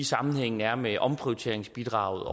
sammenhængen er med omprioriteringsbidraget